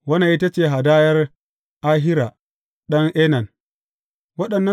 Wannan ita ce hadayar Ahira ɗan Enan.